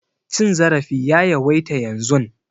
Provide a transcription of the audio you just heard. Cin zarafi ya yawaita yanzun.